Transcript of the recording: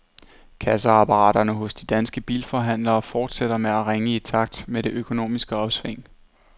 Kasseapparaterne hos de danske bilforhandlere fortsætter med at ringe i takt med det økonomiske opsving.